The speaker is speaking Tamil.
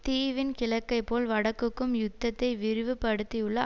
தீவின் கிழக்கைப் போல் வடக்குக்கும் யுத்தத்தை விரிவுபடுத்தியுள்ள